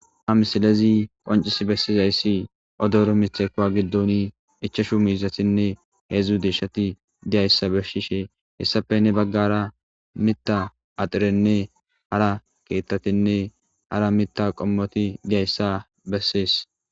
Ha misilezi qoncis bessizayssi odoro mitekowa giddoni ichashu miizatinne heedzdzu deeshshati diyayssa beshishe hessapenne baggara mitta axirenne hara keettatinne hara mitta qommoti diyayssa bessees.